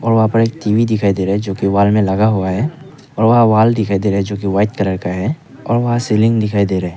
वहां पर एक टी_वी दिखाई दे रहा है जो कि वॉल में लगा हुआ है और वहां वॉल दिखाई दे रहा है जो कि वाइट कलर का है और वहां सीलिंग दिखाई दे रहा है।